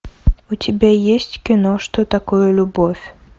у тебя есть кино что такое любовь